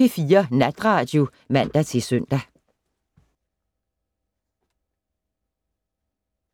P4 Natradio (man-søn)